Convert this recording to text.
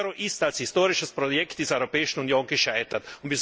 Der Euro ist als historisches Projekt dieser Europäischen Union gescheitert.